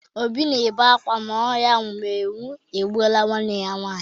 Obi na-ebe akwa na ọrịa mminwụ egbuola nwanne ya nwaanyị.